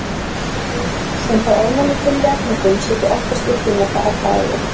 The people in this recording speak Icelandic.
Þeir sem fá ofnæmi fyrir jarðhnetum sitja oftast uppi með það alla ævi.